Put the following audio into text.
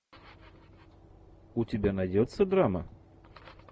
у тебя найдется драма